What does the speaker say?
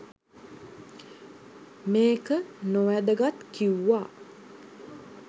මේක නොවැදගත් කිව්වා